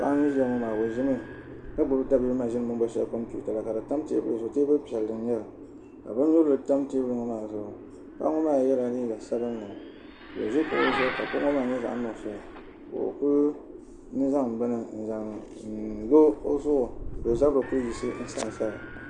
Paɣi ni ʒɛya maa o ʒimi ka gbubi ta bibi mashini shɛli bɛni booni kompita ka fi tam teebuli zuɣu paɣa ŋɔ maa yɛla liiga sabinli ka Kuli zaŋ bini n zan n loo ɔ zuɣu ka o zabiri ku yiɣisi n sansaya